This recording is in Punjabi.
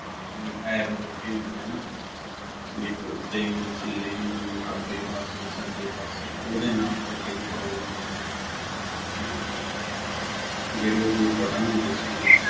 arrow ਲੱਗੇ ਹੁੰਦੇ ਆ ਹੈਨਾ ਵੀ ਇੱਕ ਉੱਤੇ ਨੂੰ ਥੱਲੇ ਨੂੰ ਖੱਬੇ ਪਾਸੇ ਸੱਜੇ ਪਾਸੇ ਉਹਦੇ ਨਾਲ ਉਹਦੇ control ਹੁੰਦੇ ਸੀਗੇ ਤੇ ਜਿਹੜੇ ਉਹਦੇ button ਹੁੰਦੇ ਸੀਗੇ